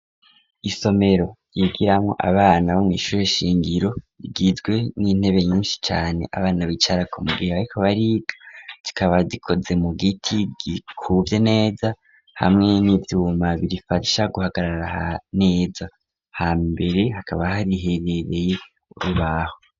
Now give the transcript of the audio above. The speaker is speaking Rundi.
Isomero ,yigiramwo Abana, bo mwishure shingiro, rigizwe n'intebe nyinshi cane, Abana bicarako mugihe bariko bariga gikaba gikoze mu giti gikuvye neza ,hamwe n'ivyuma birifasha guhagarara neza, ha mbere hakaba hari hegereye urubaho.